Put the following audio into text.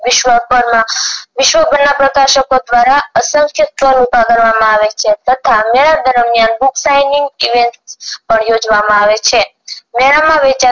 વિશ્વભરમાં વિશ્વભરના પ્રકાશકો દ્વારા અસંખ્ય stole ઊભા કરવામાં આવે છે તથા મેળા દરમિયાન book signing event મેળામાં વેચાતા